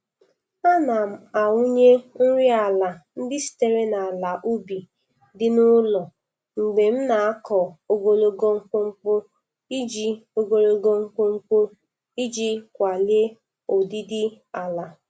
Ana m awụnye nri ala ndị sitere n'ala ubi dị n'ụlọ mgbe m na-akọ ogologo mkpumkpu iji ogologo mkpumkpu iji kwalie ụdịdị ala.